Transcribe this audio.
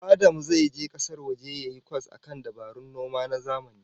Adam zai je kasar waje yayi kwas akan dabarun noman zamani